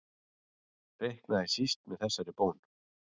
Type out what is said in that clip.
Reiknaði síst með þessari bón.